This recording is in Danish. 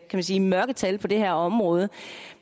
man sige mørketal på det her område